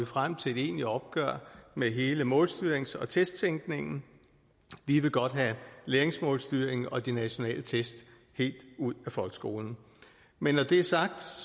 frem til et egentligt opgør med hele målstyrings og testtænkningen vi vil godt have læringsmålstyringen og de nationale test helt ud af folkeskolen men når det er sagt